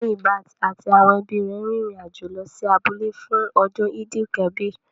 Muyibat àti àwọn ẹbí rẹ̀ rin ìrìn àjò lọ sí abúlé fún ọdún Eid-el-kabir